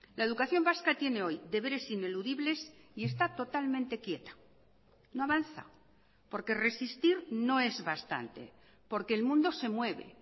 la educación vasca tiene hoy deberes ineludibles y está totalmente quieta no avanza porque resistir no es bastante porque el mundo se mueve